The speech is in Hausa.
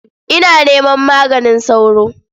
Ina neman maganin sauro?